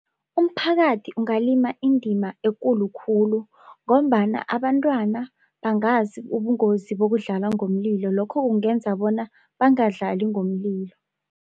Umphakathi ungalima indima ekulu khulu ngombana abantwana bangazi ubungozi bokudlala ngomlilo lokho kungenza bona bangadlali ngomlilo.